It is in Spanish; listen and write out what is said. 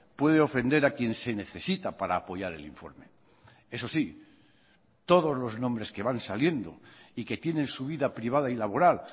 puede ofender a quien se necesita para apoyar el informe eso sí todos los nombres que van saliendo y que tienen su vida privada y laboral